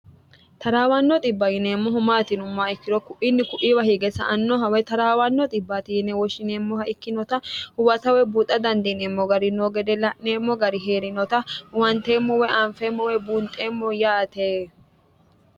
taraawanno dhibba yineemmohu maati yiumma ikkirokku inni kuiwa hige sa annohaway taraawanno dhibbi woshshineemmoha ikkinota huwasawe buuxa dandiineemmo gari noo gede la'neemmo gari hee'rinota uwanteemmowe anfeemmowee buunxeemmo yaate